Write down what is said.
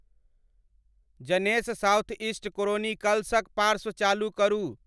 ज़नेस southeast chronicles क पाशर्व चालु करू